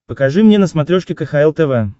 покажи мне на смотрешке кхл тв